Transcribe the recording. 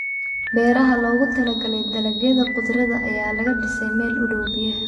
Beeraha loogu talagalay dalagyada khudradda ayaa laga dhisay meel u dhow biyaha.